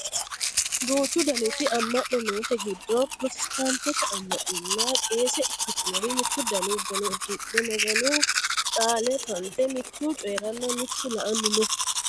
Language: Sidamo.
duuchu daniti amma'no noote giddo pirotestaantete ammanaano qeese ikkitinori mittu dani uduune uddidhe maganu qaale fa'nite mitu coyeeranna mitu la"anni no